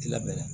Lamɛnni